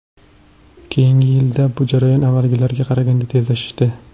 Keyingi yillarda bu jarayon avvalgilarga qaraganda tezlashdi.